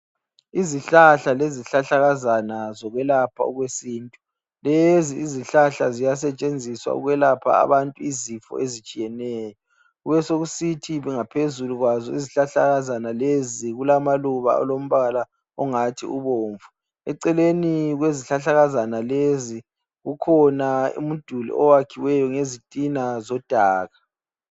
Izihlahla lezihlahlakazana zokwelapha okwesintu. Lezi izihlahla ziyasetshenziswa ukwelapha abantu izifo ezitshiyeneyo. Kubesokuthi ngaphezulu kwazo izihlahlakazana lezi kulamaluba alombala ongathi ubomvu. Eceleni kwezihlahlakazana lezi kukhona umduli oyakhiwe ngezitina zodaka.